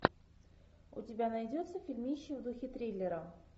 у тебя найдется фильмище в духе триллера